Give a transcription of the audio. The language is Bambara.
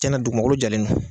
Cana dugumakolo jalen no.